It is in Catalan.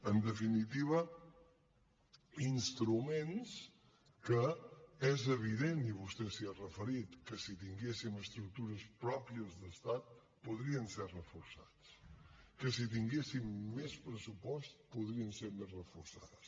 en definitiva instruments que és evident i vostè s’hi ha referit que si tinguéssim estructures pròpies d’estat podrien ser reforçats que si tinguéssim més pressupost podrien ser més reforçades